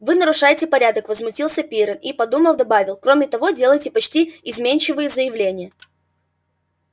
вы нарушаете порядок возмутился пиренн и подумав добавил кроме того делаете почти изменчивые заявления